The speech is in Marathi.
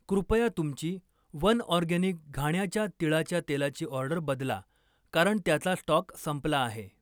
कृपया तुमची वनऑर्गॅनिक घाण्याच्या तिळाच्या तेलाची ऑर्डर बदला, कारण त्याचा स्टॉक संपला आहे